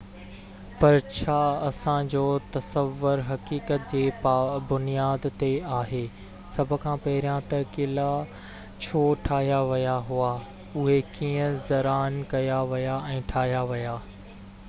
پر ڇا اسان جو تصور حقيقت جي بنياد تي آهي سڀ کان پهريان ته قلعا ڇو ٺاهيا ويا هئا اهي ڪيئن ڊزائن ڪيا ويا ۽ ٺاهيا ويا